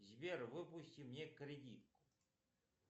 сбер выпусти мне кредит